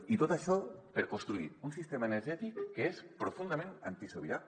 i tot això per construir un sistema energètic que és profundament antisobirà